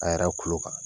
An yɛrɛ kulo kan